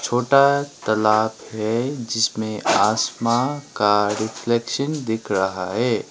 छोटा तलाब है जिसमें आसमां का रिफ्लेक्शन दिख रहा है।